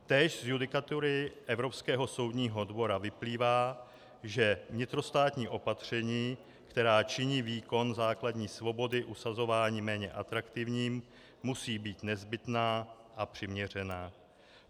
Též z judikatury Evropského soudního dvora vyplývá, že vnitrostátní opatření, která činí výkon základní svobody usazování méně atraktivním, musí být nezbytná a přiměřená.